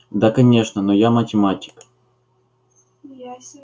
да конечно но я математик